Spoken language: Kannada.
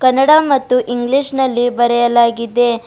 ಕನ್ನಡ ಮತ್ತು ಇಂಗ್ಲಿಷ್ ನಲ್ಲಿ ಬರೆಯಲಾಗಿದೆ.